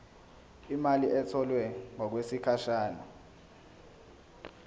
imali etholwe ngokwesigatshana